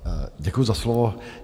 Děkuji za slovo.